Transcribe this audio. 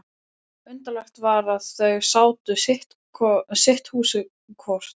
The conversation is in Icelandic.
Undarlegt var að þau áttu sitt húsið hvort.